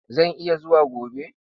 Zan iya zuwa gobe.